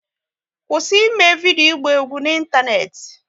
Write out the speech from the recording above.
Kwụsị eme vidio ịgba egwu n'Ịntaneti!